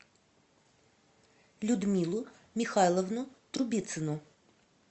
людмилу михайловну трубицыну